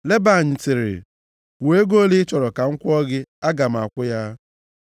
Leban sịrị, “Kwuo ego ole ị chọrọ ka m kwụọ gị, aga m akwụ ya.”